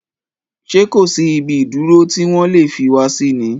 Ṣé kòsí ibi ìdúró tí wọ́n lè fi wá sí ni?